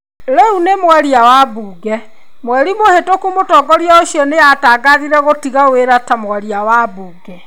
Rĩu nĩ mwaria wa mbunge, mweri mũhĩtũku mũtongoria ũcio nĩ atangathire gũtiga wĩra ta mwaria wa mbunge.